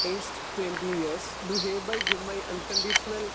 Speaker 2 aged twenty years. Do hereby give my un conditional